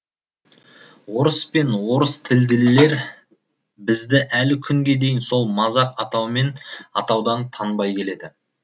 орыс пен орыстілділер бізді әлі күнге дейін сол мазақ атаумен атаудан танбай келеді